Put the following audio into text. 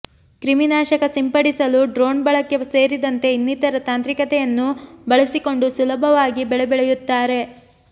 ಕ್ರಿಮಿ ನಾಶಕ ಸಿಂಪಡಿಸಲು ಡ್ರೋಣ್ ಬಳಕೆ ಸೇರಿದಂತೆ ಇನ್ನಿತರ ತಾಂತ್ರಿಕತೆಯನ್ನು ಬಳಸಿಕೊಂಡು ಸುಲಭವಾಗಿ ಬೆಳೆ ಬೆಳೆಯುತ್ತಾರೆ